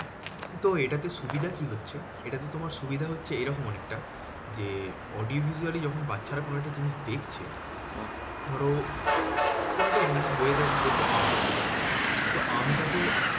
তো এটাতে সুবিধা কি হচ্ছে? এটাতে তোমার সুবিধা হচ্ছে এরকম অনেকটা যে, audio visually যখন বাচ্চারা কোনো একটা জিনিস দেখছে, ধরো কোনো একটা জিনিস বইতে বলছে আম তো আমটাকে